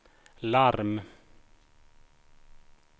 larm